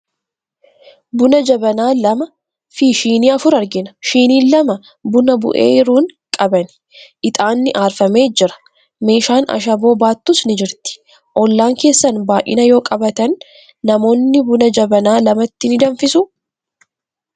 Bunaa jabanaa lamaa fi shinii afur argina. Shiniin lama buna bu'eeru hun qaban. Ixaanni aarfamee jira. Meeshaan ashaboo baattus ni jirti. Ollaan keessan baay'ina yoo qabaatan, namoonni buna jabanaa lamatti ni danfisuu?